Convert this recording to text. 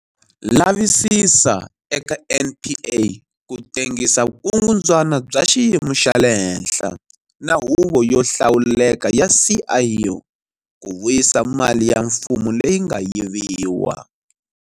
Lavisisa eka NPA ku tengisa vukungundzwana bya xiyimo xa le henhla na Huvo yo Hlawuleka ya SIU ku vuyisa mali ya mfumo leyi nga yiviwa.